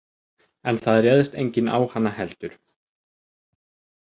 En það réðst enginn á hana heldur.